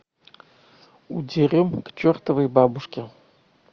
удерем к чертовой бабушке